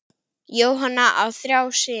Jóhann á þrjá syni.